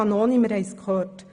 Wir haben es gehört: